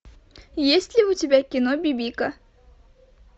есть ли у тебя кино бибика